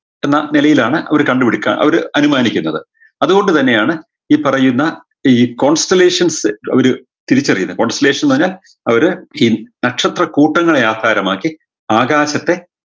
നിലയിലാണ് അവർ കണ്ടുപിടിക്കുക അവര് അനുമാനിക്കുന്നത് അതുകൊണ്ട് തന്നെയാണ് ഈ പറയുന്ന ഈ concellation ഫ് ഒരു തിരിച്ചറിയുന്നത് cocellation ന്ന് പറഞ്ഞ ഒരു ചില നക്ഷത്രക്കൂട്ടങ്ങളെ ആധാരമാക്കി ആകാശത്തെ